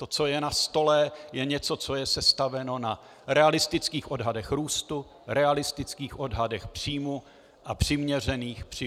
To, co je na stole, je něco, co je sestaveno na realistických odhadech růstu, realistických odhadech příjmů a přiměřených výdajích.